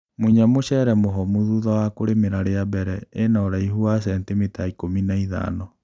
Munya mũcere mũhomu thutha wa kũrĩmĩra rĩa mbere ĩna ũraihu wa centimita ikũmi n aithano.